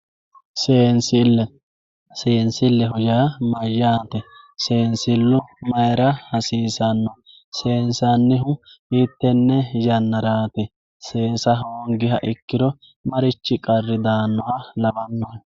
seensille senilleho yaa mayyate seensillu mayra hasiisanno seensannihu hiittenne yannaraati seesa hoonganniha ikkiro marichi qarri daannoha lawannohe